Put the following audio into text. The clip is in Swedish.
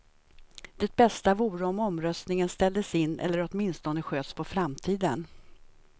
Det bästa vore om omröstningen ställdes in eller åtminstone sköts på framtiden.